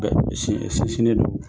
si sini do.